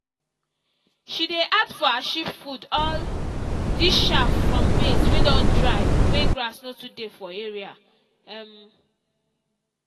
she dey add for her sheep food all dis chaff from maize wey don dry when grass no too dey for area. um